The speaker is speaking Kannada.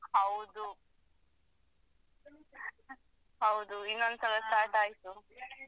ಹೌದು ಹೌದು ಇನ್ನೊಂದು ಸಲ start ಆಯ್ತು.